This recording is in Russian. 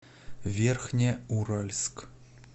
верхнеуральск